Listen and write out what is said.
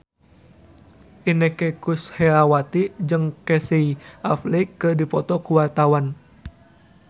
Inneke Koesherawati jeung Casey Affleck keur dipoto ku wartawan